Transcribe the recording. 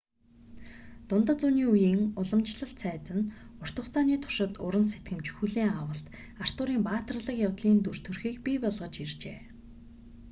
дундад зууны үеийн уламжлалт цайз нь урт хугацааны туршид уран сэтгэмж хүлээн авалт артурын баатарлаг явдлын дүр төрхийг бий болгож иржээ